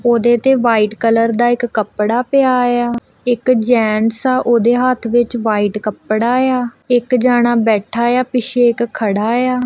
ਉਹਦੇ ਤੇ white colour ਦਾ ਇੱਕ ਕੱਪੜਾ ਪਿਆ ਆ ਇੱਕ ਜੈਂਟਸ ਆ ਉਹਦੇ ਹੱਥ ਵਿੱਚ ਵਾਈਟ ਕੱਪੜਾ ਆ ਇੱਕ ਜਣਾ ਬੈਠਾ ਆ ਪਿੱਛੇ ਇੱਕ ਖੜਾ ਆ।